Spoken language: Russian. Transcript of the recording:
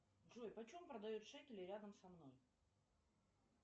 джой почем продают шекели рядом со мной